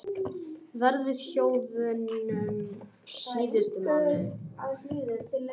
Verðhjöðnun síðustu mánuði